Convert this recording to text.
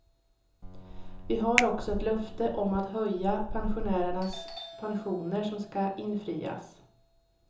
Vi har också ett löfte om att höja pensionärernas pensioner som ska infrias.